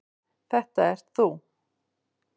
Þetta ert þú.